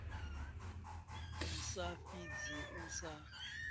i sa fhidzi u sa